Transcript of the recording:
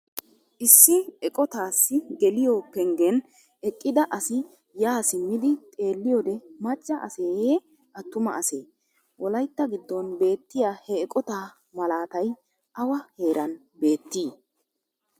Issi eqqotaassi geliyo penggen eqqida asi yaa simmidi xeeliyode macca aseyee atumma asee? Wolaytta giddon beetiya ha eqotaa malaatay awa heeran beettii?